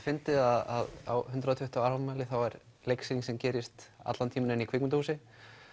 fyndið að á hundrað og tuttugu ára afmæli er leiksýning sem gerist allan tímann inn í kvikmyndahúsi